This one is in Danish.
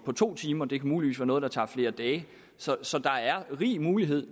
to timer det kan muligvis være noget der tager flere dage så så der er rig mulighed